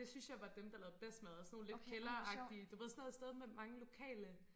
Det synes jeg var dem der lavede bedst mad sådan nogen lidt kælderagtige du ved sådan noget sted med mange lokale